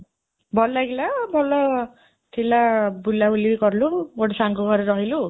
ଭଲ ଲାଗିଲା ଭଲ ଥିଲା, ବୁଲାବୁଲି ବି କଲୁ, ଗୋଟେ ସାଙ୍ଗ ଘରେ ରହିଲୁ